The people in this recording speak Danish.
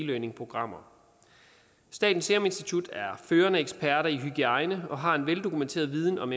learningprogrammer statens serum institut er førende eksperter i hygiejne og har en veldokumenteret viden om